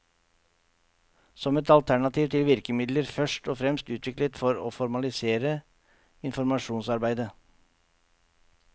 Som et alternativ til virkemidler først og fremst utviklet for å formalisere informasjonsarbeidet.